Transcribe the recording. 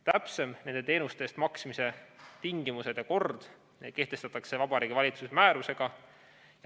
Täpsemad nende teenuste eest maksmise tingimused ja kord kehtestatakse Vabariigi Valitsuse määrusega.